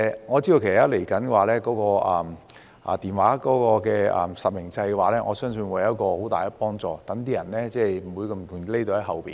我知道日後會實施電話卡實名制，我相信這會有很大幫助，令那些人不可輕易躲在後面。